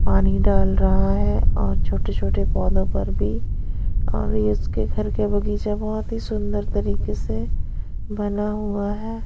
पानी डाल रहा है और छोटे-छोटे पौधों पर भी इसके घर के बगीचा बहुत ही सुंदर तरीके से बना हुआ है।